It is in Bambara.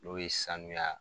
N'o ye sanuya